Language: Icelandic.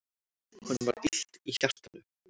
Honum var illt í hjartanu.